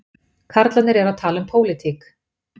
Karlarnir eru að tala um pólitík